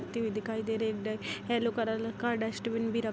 उड़ती हुई दिखाई दे रही है येलो कलर का डस्टबिन भी रख --